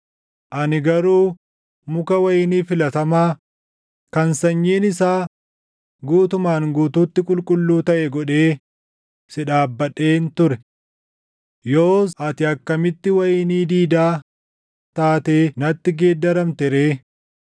Ani garuu muka wayinii filatamaa, kan sanyiin isaa guutumaan guutuutti qulqulluu taʼe godhee // si dhaabbadheen ture. Yoos ati akkamitti wayinii diidaa taatee natti geeddaramte ree?